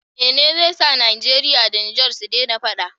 Mene ze sa nigeria da niger sudena faɗa